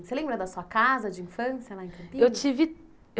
Você lembra da sua casa de infância lá em Campinas? Eu tive